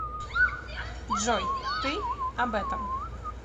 джой ты об этом